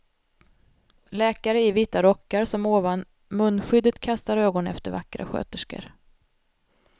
Läkare i vita rockar som ovan munskyddet kastar ögon efter vackra sköterskor.